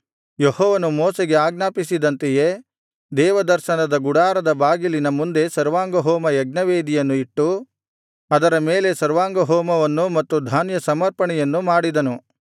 ಯೆಹೋವನು ಮೋಶೆಗೆ ಆಜ್ಞಾಪಿಸಿದಂತೆಯೇ ದೇವದರ್ಶನದ ಗುಡಾರದ ಬಾಗಿಲಿನ ಮುಂದೆ ಸರ್ವಾಂಗಹೋಮ ಯಜ್ಞವೇದಿಯನ್ನು ಇಟ್ಟು ಅದರ ಮೇಲೆ ಸರ್ವಾಂಗಹೋಮವನ್ನು ಮತ್ತು ಧಾನ್ಯಸಮರ್ಪಣೆಯನ್ನೂ ಮಾಡಿದನು